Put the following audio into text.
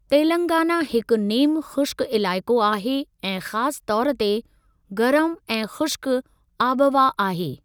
तेलंगाना हिकु नेमु ख़ुश्क इलाइक़ो आहे ऐं ख़ासि तौर ते गरमु ऐं ख़ुश्क आबहवा आहे।